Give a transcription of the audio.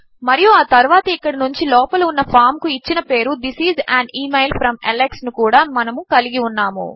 మరియు ఆ తరువాత ఇక్కడి నుంచి లోపల ఉన్న ఫామ్ కు ఇచ్చిన పేరు this is an email from Alex ను కూడా మనము కలిగి ఉన్నాము